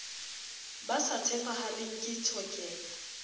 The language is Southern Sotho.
ba sa tshepahaleng ke tshokelo